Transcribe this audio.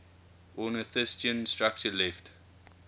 ornithischian structure left